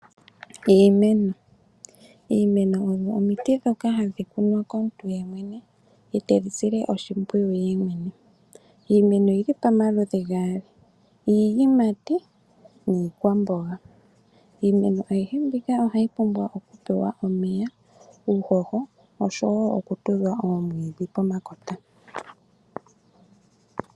Iimeno omiti ndhoka hadhi kunwa komuntu yemwene , etedhi sile oshimpwiyu yemwene . Iimeno oyili pamaludhi gayo, ngaashi iiyimati niikwamboga. Iimeno ayihe mbika ohayi pumbwa okupewa omeya , uuhoho oshowoo okutudhwa omwiidhi pomakota.